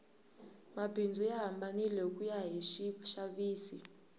mabindzu ya hambanile hikuya hi swixavisi